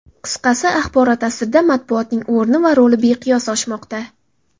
Qisqasi, axborot asrida matbuotning o‘rni va roli beqiyos oshmoqda.